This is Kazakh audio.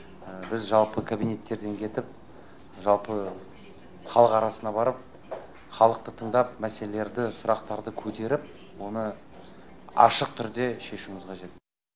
біз жалпы кабинеттерден кетіп жалпы халық арасына барып халықты тыңдап мәселелерді сұрақтарды көтеріп оны ашық түрде шешуіміз қажет